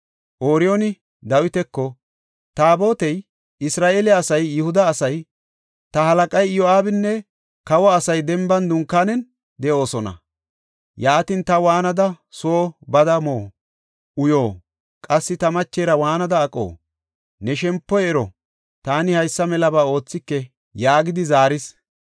Ooriyooni Dawitako, “Taabotey, Isra7eele asay, Yihuda asay, ta halaqay Iyo7aabinne kawa asay denban dunkaanen de7oosona. Yaatin ta waanada soo bada mo, uyo, qassi ta machera waanada aqo? Ne shempoy ero! Taani haysa melaba oothike” yaagidi zaaris.